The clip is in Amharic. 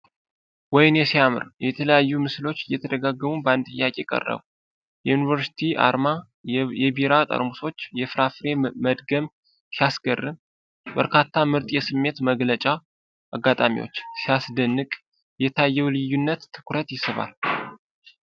ወይኔ ሲያምር! የተለያዩ ምስሎች እየተደጋገሙ በአንድ ጥያቄ ቀረቡ። የዩኒቨርሲቲ አርማ፣ የቢራ ጠርሙሶች፣ የፍራፍሬ መድገም ሲያስገርም! በርካታ ምርጥ የስሜት መግለጫ አጋጣሚዎች! ሲያስደንቅ! የታየው ልዩነት ትኩረት ይስባል።